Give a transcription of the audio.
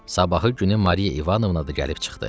Sabahı günü Mariya İvanovna da gəlib çıxdı.